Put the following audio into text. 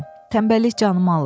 Tənbəllik canımı alıb.